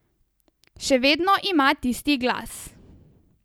Še vedno ima tisti glas.